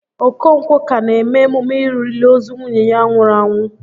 Okonkwọ ka na eme emume òlìlì ozu nwunye ya nwụrụ anwụ